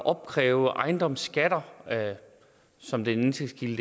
opkræve ejendomsskatter som den indtægtskilde